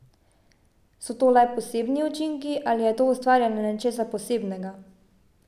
So to le posebni učinki ali je to ustvarjanje nečesa posebnega?